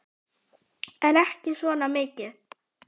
En ekki svona mikið.